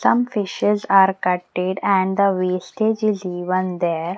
Some fishes are cutted and the wastage is even there.